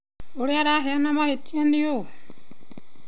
ũria araheana mahĩtia nĩ ũ?